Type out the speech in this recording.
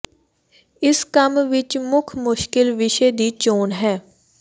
ਇਸ ਕੰਮ ਵਿੱਚ ਮੁੱਖ ਮੁਸ਼ਕਲ ਵਿਸ਼ੇ ਦੀ ਚੋਣ ਹੈ